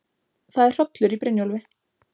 Það er hrollur í Brynjólfi.